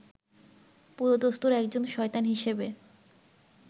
পুরোদস্তুর একজন শয়তান হিসেবে